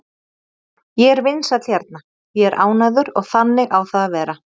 Ég er vinsæll hérna, ég er ánægður og þannig á það að vera.